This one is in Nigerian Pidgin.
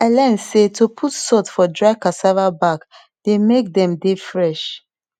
i learn say to put salt for dry cassava back dey make dem dey fresh